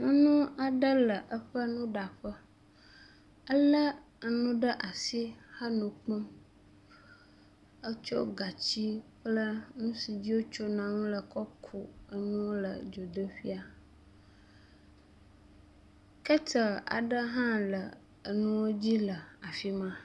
Ŋu aɖe le eƒe nuɖaƒe elé enu ɖe asi eme kpɔm etsɔ gatsi kple nu si dzi wotsona nu le kɔ ku enu ŋu le dzodoƒea. Keteli aɖe hã le enuwo dzi le afi ma.